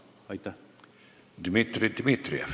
Dmitri Dmitrijev.